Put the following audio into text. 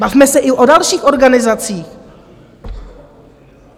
Bavme se i o dalších organizacích.